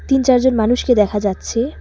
তিন চারজন মানুষকে দেখা যাচ্ছে।